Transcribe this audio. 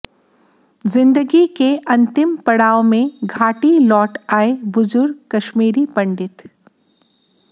जिंदगी के अंतिम पड़ाव में घाटी लौट आए बुजुर्ग कश्मीरी पंडित